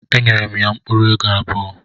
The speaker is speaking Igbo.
Enyere m ya mkpuru ego abuo